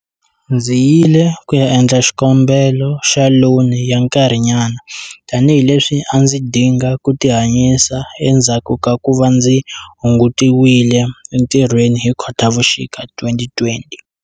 Ndzi yile ku ya endla xikombelo xa loni ya nkarhinyana tanihileswi a ndzi dinga ku tihanyisa endzhaku ka ku va ndzi hungutiwile entirhweni hi Khotavuxika 2020.